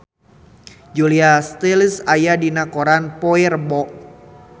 Julia Stiles aya dina koran poe Rebo